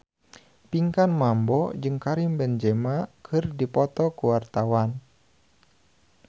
Pinkan Mambo jeung Karim Benzema keur dipoto ku wartawan